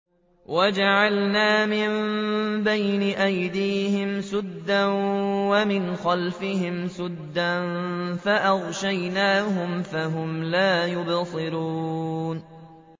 وَجَعَلْنَا مِن بَيْنِ أَيْدِيهِمْ سَدًّا وَمِنْ خَلْفِهِمْ سَدًّا فَأَغْشَيْنَاهُمْ فَهُمْ لَا يُبْصِرُونَ